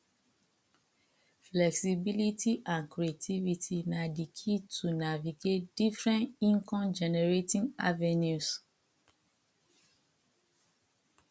flexibility and creativity na di key to navigate different incomegenerating avenues